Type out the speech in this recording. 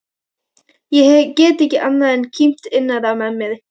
Ég get ekki annað en kímt innra með mér.